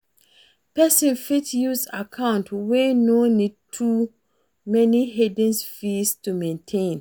person fit use account wey no need too many hidden fees to maintain